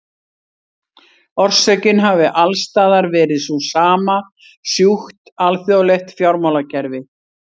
Orsökin hafi alls staðar verið sú sama, sjúkt alþjóðlegt fjármálakerfi.